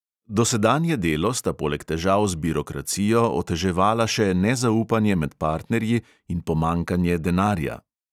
Dosedanje delo sta poleg težav z birokracijo oteževala še nezaupanje med partnerji in pomanjkanje denarja.